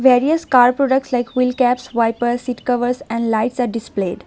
Various car products like wheel caps wiper seat covers and lights are displayed.